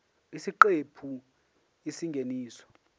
isiqephu b isingeniso